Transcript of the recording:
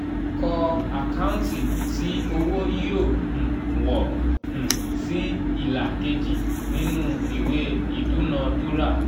kọ́ àkáǹtì tí owó yóò um wọ̀ um sí ìlà kejì nínú ìwé ìdúnadúrà.